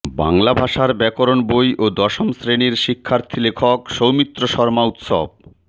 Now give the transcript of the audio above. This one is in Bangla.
বাংলা ভাষার ব্যাকরণ বই ও দশম শ্রেণির শিক্ষার্থী লেখক সৌমিত্র শর্মা উৎস